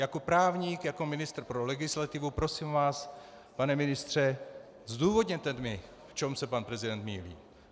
Jako právník, jako ministr pro legislativu, prosím vás, pane ministře, zdůvodněte mi, v čem se pan prezident mýlí.